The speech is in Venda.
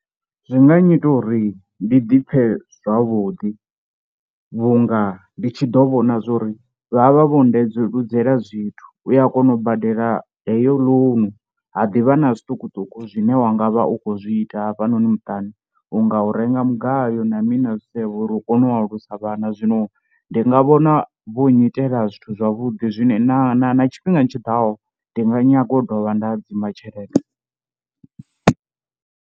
Zwi nga nnyita uri ndi dipfe zwavhuḓi vhunga ndi tshi ḓo vhona zwa uri vha vha vho ndeludzela zwithu, u ya kona u badela heyo loan ha ḓivha na zwiṱukuṱuku zwine wa nga vha u khou zwi ita hafhanoni muṱani, u nga u renga mugayo na mini na zwisevho uri hu kone u alusa vhana. Zwino ndi nga vhona vho nyitela zwithu zwavhuḓi zwi na na na tshifhingani tshiḓaho ndi nga nyaga u dovha nda hadzima tshelede.